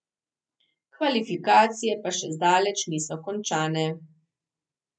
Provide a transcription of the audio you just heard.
Kvalifikacije pa še zdaleč niso končane.